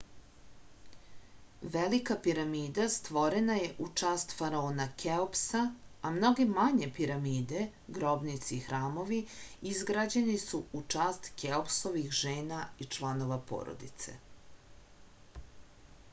velika piramida stvorena je u čast faraona keopsa a mnoge manje piramide grobnice i hramovi izgrađeni su u čast keopsovih žena i članova porodice